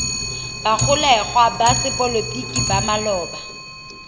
bagolegwa ba sepolotiki ba maloba